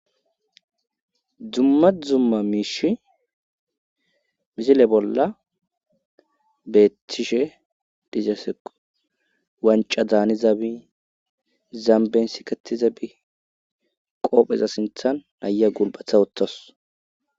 dumma zumma miishi misile bolla beetishe dizasequ wanca daani zaabi zamben sikati zabi qoopheza sinthan naya gulbatha wuthas